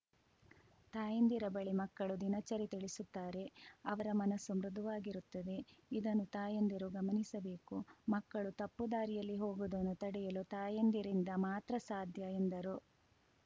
ತಾಯಂದಿರ ಬಳಿ ಮಕ್ಕಳು ದಿನಚರಿ ತಿಳಿಸುತ್ತಾರೆ ಅವರ ಮನಸ್ಸು ಮೃಧುವಾಗಿರುತ್ತದೆ ಇದನ್ನು ತಾಯಂದಿರು ಗಮನಿಸಬೇಕು ಮಕ್ಕಳು ತಪ್ಪುದಾರಿಯಲ್ಲಿ ಹೋಗುವುದನ್ನು ತಡೆಯಲು ತಾಯಂದಿರಿಂದ ಮಾತ್ರ ಸಾಧ್ಯ ಎಂದರು